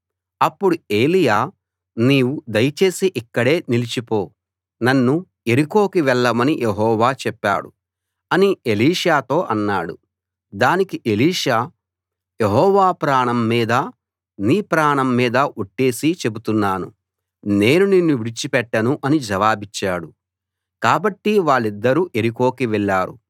అప్పుడు ఏలీయా నీవు దయచేసి ఇక్కడే నిలిచిపో నన్ను యెరికోకి వెళ్ళమని యెహోవా చెప్పాడు అని ఎలీషాతో అన్నాడు దానికి ఎలీషా యెహోవా ప్రాణం మీదా నీ ప్రాణం మీదా ఒట్టేసి చెబుతున్నాను నేను నిన్ను విడిచి పెట్టను అని జవాబిచ్చాడు కాబట్టి వాళ్ళిద్దరూ యెరికోకి వెళ్ళారు